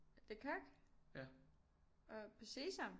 Le Coq og på Sesam